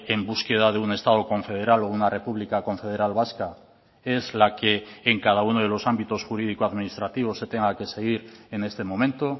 en búsqueda de un estado confederal o una república confederal vasca es la que en cada uno de los ámbitos jurídico administrativo se tenga que seguir en este momento